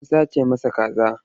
An sace masa kaza.